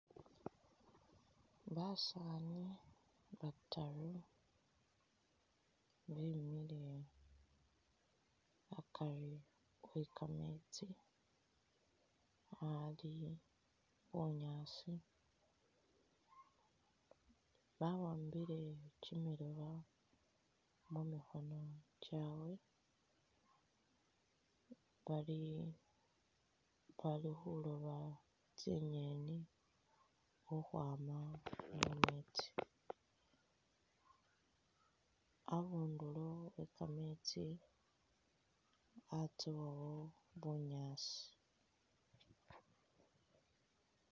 Basaani bataru bemile akari we'kameetsi aali bunyaasi bawambile kyimilooba mumikhono kyawe bali khulooba tsinyeni khukhwama mumeetsi , abunduro we kameetsi atsowawo bunyaasi.